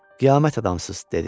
Qiyamət adamsız, dedi.